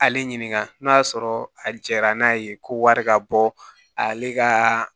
Ale ɲininka n'o y'a sɔrɔ a jɛra n'a ye ko wari ka bɔ ale ka